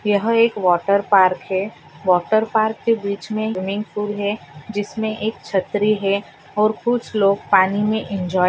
यह एक water park है वॉटर पार्क के बीच मे स्विमिंग पूल है जिसमे एक छत्री है और कुछ लोग पानी मे एंजॉय --